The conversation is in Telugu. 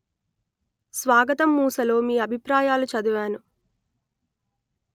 స్వాగతం మూసలో మీ అభిప్రాయాలు చదివాను